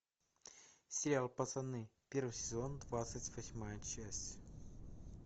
сериал пацаны первый сезон двадцать восьмая часть